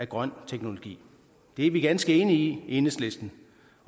grøn teknologi det er vi ganske enige i i enhedslisten